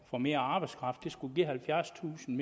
få mere arbejdskraft det skulle give halvfjerdstusind